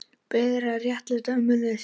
Beðin að réttlæta ummæli sín